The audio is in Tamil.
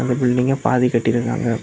இந்த பில்டிங்கை பாதி கட்டியிருக்காங்க.